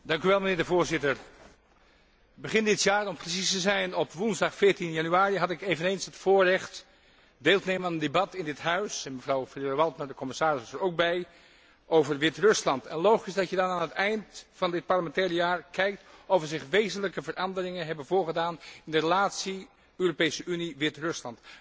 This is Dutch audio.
Mijnheer de Voorzitter, begin dit jaar, om precies te zijn op woensdag 14 januari, had ik eveneens het voorrecht deel te nemen aan een debat in dit Huis en mevrouw Ferrero Waldner, de commissaris, was daar ook bij over Wit Rusland en logisch dat je dan aan het eind van dit parlementaire jaar kijkt of er zich wezenlijke veranderingen hebben voorgedaan in de relatie Europese Unie Wit Rusland.